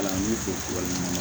Kalanden fɔ tubabu ninnu na